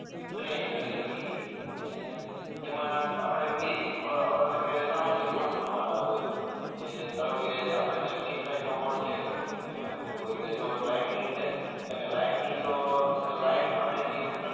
train કરી શકીએ અને એમાં આપણે બે જ અઅ એટલે કે સામાન્ય કોડ લખવાના હોય કે ધારોકે આપણે કે સ્ટ્રીટ લાઈટ નો બોર્ડ છે એમાં એવું હોય કે જો લાઈટ ની છે એટલે કે લાઈટ ની જો લાઈટ આપણે જે